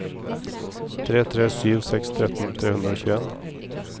tre tre sju seks tretten tre hundre og tjueen